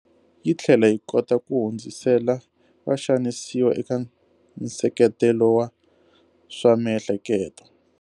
Yi tlhela yi kota ku hundzisela vaxanisiwa eka nseketelo wa swa miehleketo.